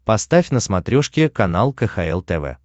поставь на смотрешке канал кхл тв